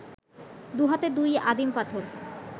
দু’হাতে দুই আদিম পাথর